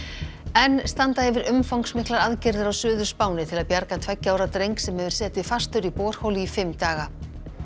enn standa yfir umfangsmiklar aðgerðir á Suður Spáni til að bjarga tveggja ára dreng sem hefur setið fastur í borholu í fimm daga